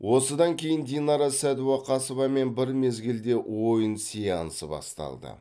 осыдан кейін динара сәдуақасовамен бір мезгілде ойын сеансы басталды